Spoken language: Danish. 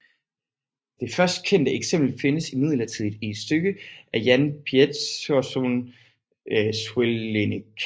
Det først kendte eksempel findes imidlertid i et stykke af Jan Pieterszoon Sweelinck